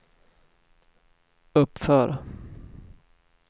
uppför